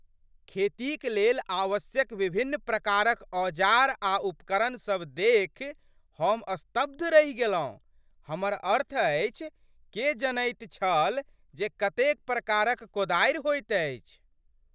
खेतीक लेल आवश्यक विभिन्न प्रकारक औजार आ उपकरण सभ देखि हम स्तब्ध रहि गेलहुँ। हमर अर्थ अछि, के जनैत छल जे कतेक प्रकारक कोदारि होइत अछि?